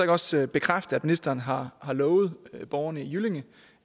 også bekræfte at ministeren har lovet borgerne i jyllinge